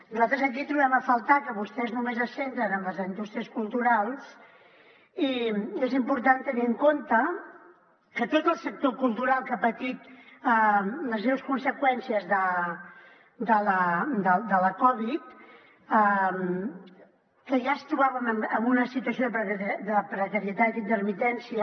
nosaltres aquí trobem a faltar que vostès només es centren en les indústries culturals i és important tenir en compte que tot el sector cultural que ha patit les greus conseqüències de la covid ja es trobaven en una situació de precarietat i intermitència